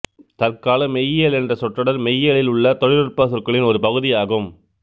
தற்கால மெய்யியல் என்ற சொற்றொடர் மெய்யியலில் உள்ள தொழில்நுட்ப சொற்களின் ஒரு பகுதியாகும்